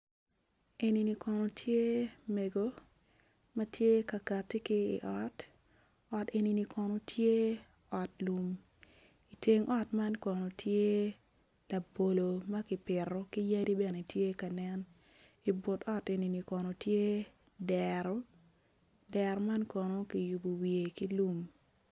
Enini kono tye mego ma tye ka kati ki ot ot enini kono tye ot lum iteng ot man kono tye labolo ma kipito ki yadi bene tye ka nen ibut ot enini kono tye dero dero man kono kiyubo wiye ki lum.